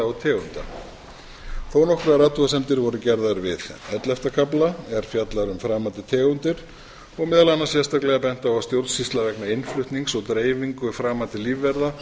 og tegunda þó nokkrar athugasemdir voru gerðar við ellefta kafla sem fjallar um framandi tegundir og meðal annars sérstaklega bent á að stjórnsýsla vegna innflutnings og dreifingu framandi lífvera